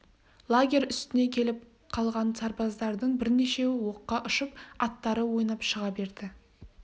лагерь үстіне келіп қалған сарбаздардың бірнешеуі оққа ұшып аттары ойнап шыға берді